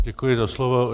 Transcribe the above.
Děkuji za slovo.